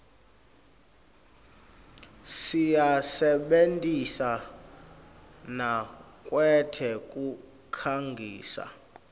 siyisebentisa nakwetekukhangisa